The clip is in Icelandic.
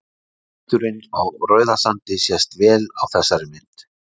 liturinn á rauðasandi sést vel á þessari mynd